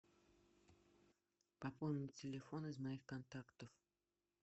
пополнить телефон из моих контактов